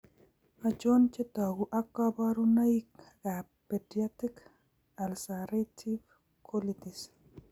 Achon chetogu ak kaborunoik ab pediatric ulcerative colitis